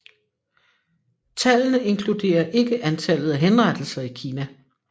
Tallene inkluderer ikke antallet af henrettelser i Kina